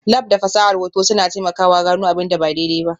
Lab da fasahar hoto suna taimakawa gano abin da ba daidai ba.